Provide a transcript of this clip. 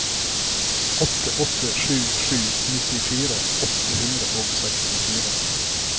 åtte åtte sju sju nittifire åtte hundre og sekstifire